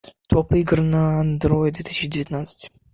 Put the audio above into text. топ игр на андроид две тысячи девятнадцать